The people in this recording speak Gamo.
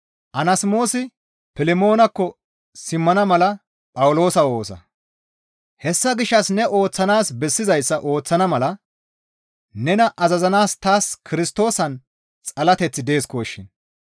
Hessa gishshas ne ooththanaas bessizayssa ooththana mala nena azazanaas taas Kirstoosan xalateththi deesikoshin.